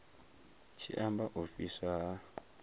tshi amba u fhiswa ha